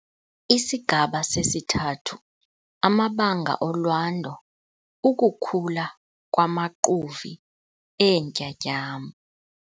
ISIGABA 3- AMABANGA OLWANDO - UKUKHULA KWAMAQUVI EENTYATYAMBO